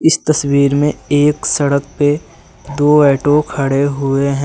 इस तस्वीर में एक सड़क पे दो ऑटो खड़े हुए हैं।